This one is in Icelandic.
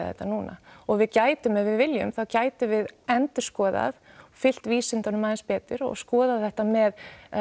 þetta núna og við gætum ef við viljum þá gætum við endurskoðað og fylgt vísindunum aðeins betur og skoðað þetta með